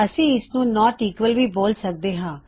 ਅਸੀਂ ਇਸਨੂੰ not equal ਵੀ ਬੋਲ ਸਕਦੇ ਹਾਂ